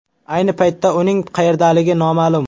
Ayni paytda uning qayerdaligi noma’lum.